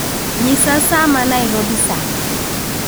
Nyisa sa ma Nairobi sani.